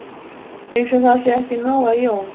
Eins og það sé ekki nóg að Jón